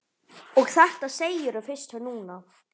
Og þetta segirðu fyrst núna.